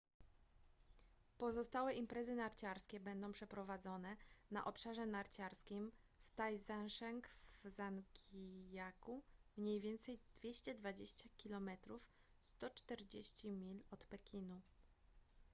pozostałe imprezy narciarskie będą przeprowadzone na obszarze narciarskim w taizicheng w zhangijakou mniej więcej 220 km 140 mil od pekinu